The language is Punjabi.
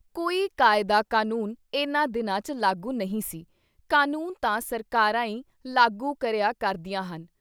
ਕੋਈ ਕਾਇਦਾ ਕਾਨੂੰਨ ਇਨ੍ਹਾਂ ਦਿਨਾਂ ’ਚ ਲਾਗੂ ਨਹੀਂ ਸੀ, ਕਾਨੂੰਨ ਤਾਂ ਸਰਕਾਰਾਂ ਈ ਲਾਗੂ ਕਰਿਆ ਕਰਦੀਆਂ ਹਨ।